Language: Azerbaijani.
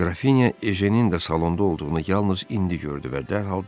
Qrafinya Ejenin də salonda olduğunu yalnız indi gördü və dərhal dedi.